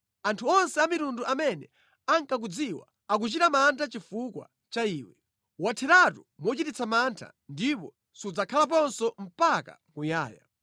Anthu onse amitundu amene ankakudziwa akuchita mantha chifukwa cha iwe. Watheratu mochititsa mantha ndipo sudzakhalaponso mpaka muyaya.’ ”